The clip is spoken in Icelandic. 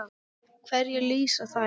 Hverju lýsa þær?